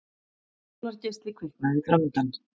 Sólargeisli kviknaði framundan.